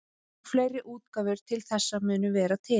Og fleiri útgáfur þessa munu vera til.